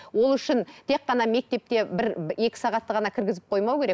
ол үшін тек қана мектепте бір екі сағатты ғана кіргізіп қоймау керек